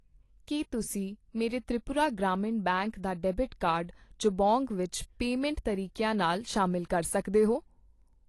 ਕੀ ਤੁਸੀਂਂ ਮੇਰੇ ਤ੍ਰਿਪੁਰਾ ਗ੍ਰਾਮੀਣ ਬੈਂਕ ਦਾ ਡੈਬਿਟ ਕਾਰਡ ਜਬੋਂਗ ਵਿੱਚ ਪੇਮੈਂਟ ਤਰੀਕਿਆਂ ਨਾਲ ਸ਼ਾਮਿਲ ਕਰ ਸਕਦੇ ਹੋ ?